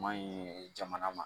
Maɲi jamana ma